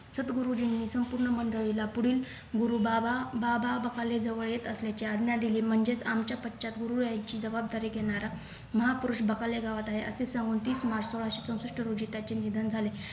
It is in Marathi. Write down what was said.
सद्गुरुजींनी संपूर्ण मंडळीला पुढील गुरुबाबा बाबा बकाले जवळ येत असल्याची आज्ञा दिली म्हणजेच आमच्या पश्चात गुरु यांची जबाबदारी घेणारा महापुरुष बकाले गावात आहे असं सांगून तीस March सोळाशे चौसष्ठ रोजी त्याचे निधन झाले